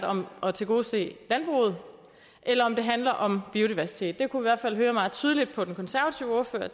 om at tilgodese landbruget eller om det handler om biodiversitet der kunne hvert fald høre meget tydeligt på den konservative ordfører at